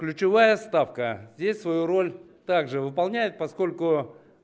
ключевая ставка здесь свою роль также выполняет поскольку